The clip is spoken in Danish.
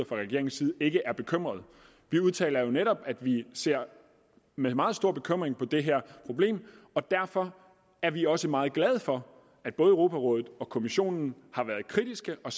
fra regeringens side ikke er bekymrede vi udtaler jo netop at vi ser med meget stor bekymring på det her problem og derfor er vi også meget glade for at både europarådet og kommissionen har været kritiske og